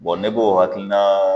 ne bɛ o hakilina.